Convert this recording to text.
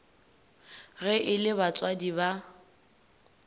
ge e le batswadi ba